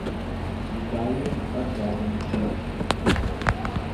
виталием аркадьевичем